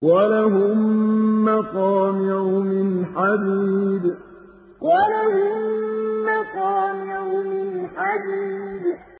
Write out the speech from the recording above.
وَلَهُم مَّقَامِعُ مِنْ حَدِيدٍ وَلَهُم مَّقَامِعُ مِنْ حَدِيدٍ